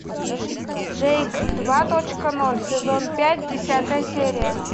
джейк два точка ноль сезон пять десятая серия